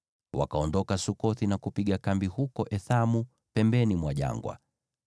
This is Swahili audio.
Wakaondoka Sukothi na kupiga kambi huko Ethamu, pembeni mwa jangwa.